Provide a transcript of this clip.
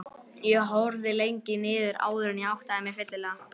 Ég horfði lengi niður áður en ég áttaði mig fyllilega.